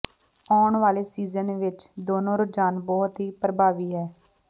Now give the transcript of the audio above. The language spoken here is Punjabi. ਆਉਣ ਵਾਲੇ ਸੀਜ਼ਨ ਵਿਚ ਦੋਨੋ ਰੁਝਾਨ ਬਹੁਤ ਹੀ ਪ੍ਰਭਾਵੀ ਹੈ